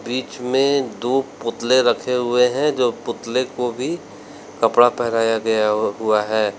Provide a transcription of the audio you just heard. बीच में दो पुतले रखे हुए हैं जो पुतले को भी कपड़ा पहनाया गया हुआ है।